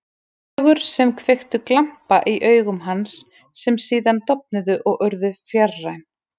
Sögur sem kveiktu glampa í augum hans, sem síðan dofnuðu og urðu fjarræn.